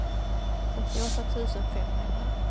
åttioåtta tusen femhundra